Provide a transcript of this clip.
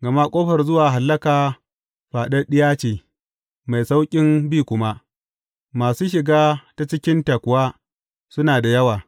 Gama ƙofar zuwa hallaka faɗaɗɗiya ce mai sauƙin bi kuma, masu shiga ta cikinta kuwa suna da yawa.